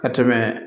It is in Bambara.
Ka tɛmɛ